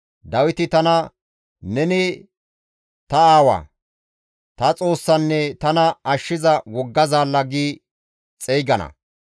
Dawiti tana, ‹Neni ta aawaa; ta Xoossanne tana ashshiza wogga zaalla› gi xeygana.